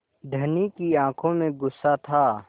धनी की आँखों में गुस्सा था